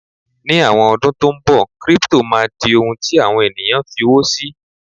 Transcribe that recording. ní àwọn ọdún tí nbọ, crypto ma di ohun ti àwọn ènìyàn f'iwo sí